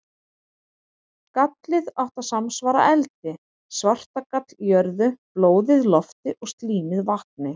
Gallið átti að samsvara eldi, svartagall jörðu, blóðið lofti og slímið vatni.